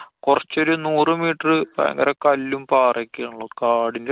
കുറച്ചൊരു നൂറു meter ഭയങ്കര കല്ലും പാറയും ഒക്കെ ആണല്ലോ. കാടിന്‍~